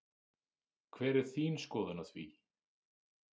Hver er þín skoðun á því?